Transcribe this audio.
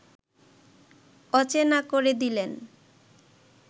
অচেনা করে দিলেন